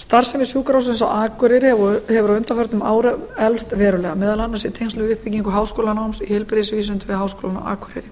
starfsemi sjúkrahússins á akureyri hefur á undanförnum árum eflst verulega meðal annars í tengslum við uppbyggingu háskólanáms í heilbrigðisvísindum við háskólann á akureyri